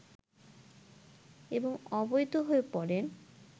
এবং অবৈধ হয়ে পড়েন